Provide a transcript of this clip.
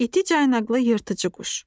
İti caynaqlı yırtıcı quş.